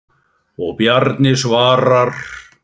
Og Bjarni svarar.